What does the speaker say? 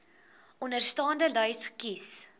onderstaande lys kies